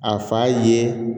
A fa ye